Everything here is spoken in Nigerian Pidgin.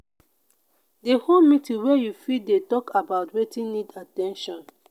de hold meetings where you fit de talk about wetin need at ten tion